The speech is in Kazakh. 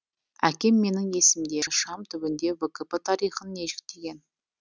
әкем менің есімде шам түбінде вкп тарихын ежіктеген